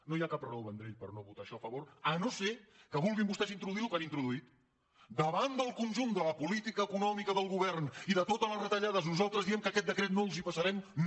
no hi ha cap raó vendrell per no votar això a favor si no és que volen vostès introduir el que han introduït davant del conjunt de la política econòmica del govern i de totes les retallades nosaltres diem que aquest decret no els el passarem no